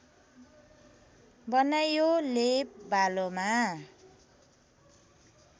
बनाइयो लेप बालोमा